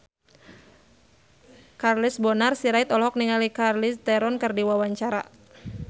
Charles Bonar Sirait olohok ningali Charlize Theron keur diwawancara